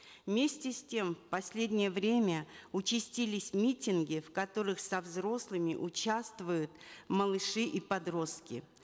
вместе с тем в последнее время участились митинги в которых со взрослыми участвуют малыши и подростки